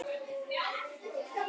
Sigrún besta vinkona hennar.